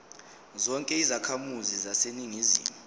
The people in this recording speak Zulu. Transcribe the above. zonke izakhamizi zaseningizimu